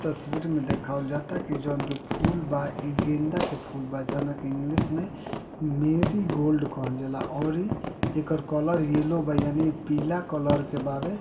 तस्वीर में देखवाल जाता कि जोन कि फूल बा इ गेंदा के फूल बा जोना के इंग्लिश में मेरिगोल्ड कहल जाला औरी एकर कलर येलो बा यानि पीला कलर के बावे।